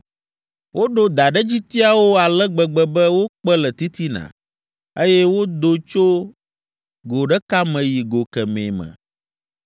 Woɖo daɖedzitiawo ale gbegbe be wokpe le titina, eye wodo tso go ɖeka me yi go kemɛ me.